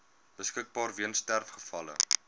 beskikbaar weens sterfgevalle